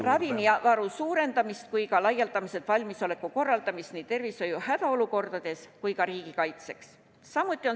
Samuti hõlmab see ravimivaru suurendamist ja laialdase valmisoleku korraldamist nii tervishoiu hädaolukordadeks kui ka riigikaitseks.